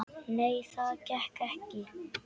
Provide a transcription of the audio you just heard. Nei, það gekk ekki.